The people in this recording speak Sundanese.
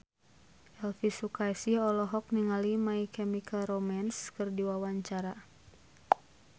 Elvy Sukaesih olohok ningali My Chemical Romance keur diwawancara